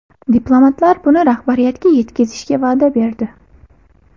Diplomatlar buni rahbariyatga yetkazishga va’da berdi.